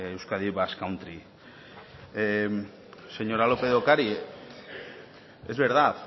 euskadi basque country señora lópez de ocariz es verdad